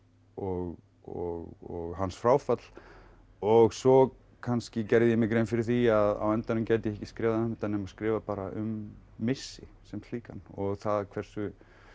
og og hans fráfall og svo kannski gerði ég mér grein fyrir því að á endanum gæti ég ekki skrifað um þetta nema skrifa bara um missi sem slíkan og það hversu